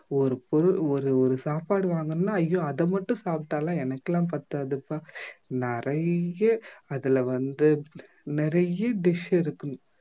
ஒரு பொருள் ஒரு ஒரு சாப்பாடு வாங்கணும்னா ஐயோ அத மட்டும் சாப்பிட்டா எல்லாம் எனக்குலாம் பத்தாதுப்பா நிறைய அதுல வந்து நிறைய dish இருக்கணும்